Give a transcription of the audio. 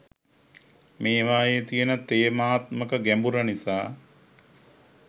මේවායේ තියෙන තේමාත්මක ගැඹුර නිසා.